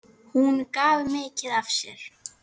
Hún gaf mikið af sér.